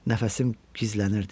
Nəfəsim gizlənirdi.